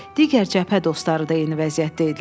Digər cəbhə dostları da eyni vəziyyətdə idilər.